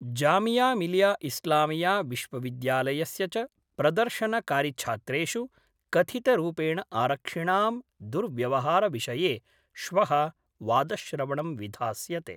जामियामिलियाइस्लामिया विश्वविद्यालयस्य च प्रदर्शनकारिछात्रेषु कथितरूपेण आरक्षिणां दुर्व्यवहारविषये श्व: वादश्रवणं विधास्यते।